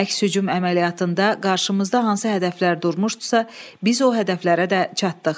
Əks-hücum əməliyyatında qarşımızda hansı hədəflər durmuşdusa, biz o hədəflərə də çatdıq.